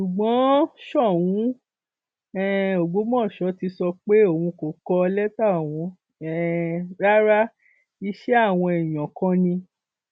ṣùgbọn sóun um ọgbọmọṣọ́ ti sọ pé òun kò kọ lẹtà ọhún um rárá iṣẹ àwọn èèyàn kan ni